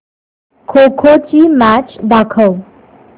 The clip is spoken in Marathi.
खो खो ची मॅच दाखव